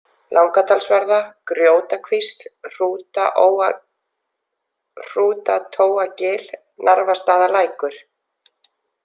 Langadalsvarða, Grjótakvísl, Hrútatóagil, Narfastaðalækur